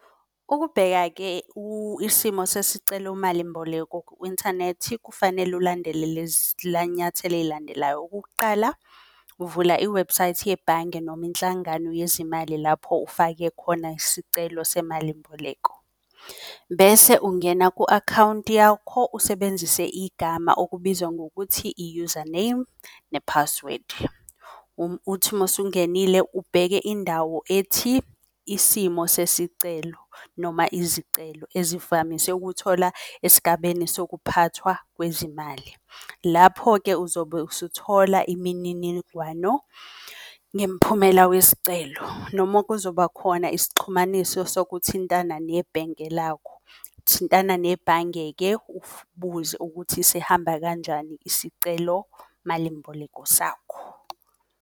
Ukubheka-ke isimo sesicelo malimboleko ku-inthanethi kufanele ulandele lezi zinyathelo ezilandelayo. Okokuqala uvula iwebhusayithi yebhange noma inhlangano yezimali lapho ufake khona isicelo semalimboleko. Bese ungena ku-akhawunti yakho usebenzise igama okubizwa ngokuthi i-username ne-password. Uthi mawusungenile ubheke indawo ethi, isimo sesicelo noma izicelo. Ezivamise ukuthola esigabeni sokuphathwa kwezimali. Lapho-ke uzobe usuthola imininigwano ngemphumela wesicelo nomu kuzoba khona isixhunyaniso sokuthintana nebhenke lakho. Thintana nebhange-ke ubuze ukuthi sihamba kanjani isicelo malimboleko sakho.